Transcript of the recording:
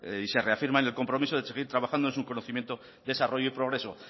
y se reafirma en su compromiso de seguir trabajando en su conocimiento desarrollo y progreso